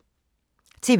TV 2